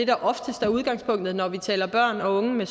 der oftest er udgangspunktet når vi taler om børn og unge med